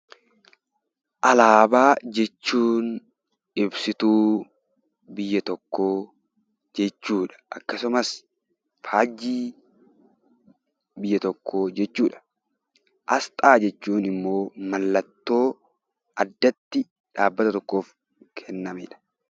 Alaabaa jechuun ibsituu biyya tokkoo jechuudha. Akkasumas faajjii biyya tokkoo jechuudha. Asxaan immoo mallattoo addatti dhaabbata tokkoof kennamedha.